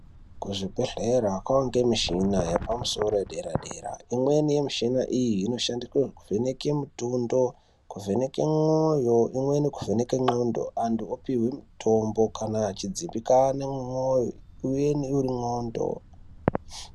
Kuzvebhedhlera kwaange mishina yapamusoro yedera dera imweni yemishina iyi inoshandiswe kuvheneka mitondo kuvheneke mwoyo umweni kuvheneke ndxondo anthu opuhwe mutombo kana achidzimbikana mumwoyo uye nemundxondo.